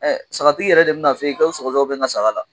sagatiigi yɛrɛ de bɛ n'a f'e ye ko sɔgɔsɔgɔ de bɛ n ka saga la.